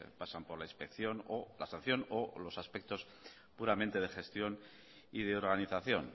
pasan por la inspección o tasación o los aspectos puramente de gestión y de organización